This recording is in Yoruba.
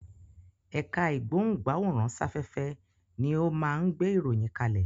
Ẹ̀ka ìgbóhùn-gbáwòrán-sáfẹ́fẹ́ ni ó máa ń gbé ìròyìn kalẹ̀.